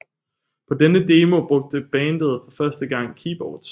På denne demo brugte bandet for første gang keyboards